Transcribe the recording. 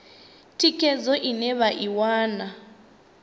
thikhedzo ine vha i wana